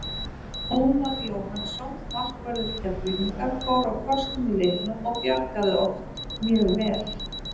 Ómar Jóhannsson markvörður Keflvíkinga fór á kostum í leiknum og bjargaði oft mjög vel.